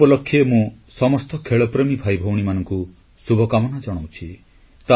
ଏ ଉପଲକ୍ଷେ ମୁଁ ସମସ୍ତ ଖେଳପ୍ରେମୀ ଭାଇ ଭଉଣୀମାନଙ୍କୁ ଶୁଭକାମନା ଜଣାଉଛି